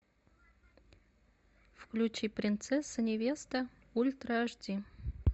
включи принцесса невеста ультра аш ди